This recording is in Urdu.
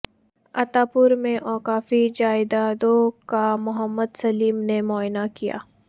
عطاپور میں اوقافی جائیدادوں کا محمد سلیم نے معائنہ کیا